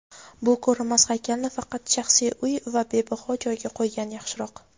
bu ko‘rinmas haykalni faqat shaxsiy uy va bahavo joyga qo‘ygan yaxshiroq.